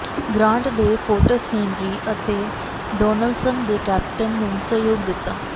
grant ਦੇ forts Henry ਅਤੇ Donelson ਦੇ ਕੈਪਟਨ ਨੂੰ ਸਹਿਯੋਗ ਦਿੱਤਾ